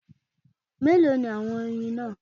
Mélòó ni àwọn oyin náà